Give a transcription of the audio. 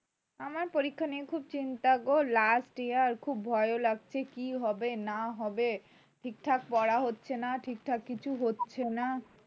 আমার পরীক্ষা নিয়ে খুব চিন্তা গো last year খুব ভয়ও লাগছে কী হবে না হবে ঠিকঠাক করা হচ্ছে না ঠিকঠাক কিছু হচ্ছে না